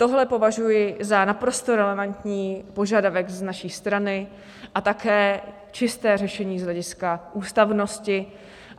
Tohle považuji za naprosto relevantní požadavek z naší strany a také čisté řešení z hlediska ústavnosti.